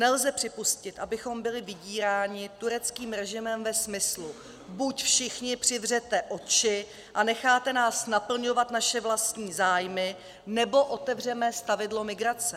Nelze připustit, abychom byli vydíráni tureckým režimem ve smyslu "buď všichni přivřete oči a necháte nás naplňovat naše vlastní zájmy, nebo otevřeme stavidlo migrace".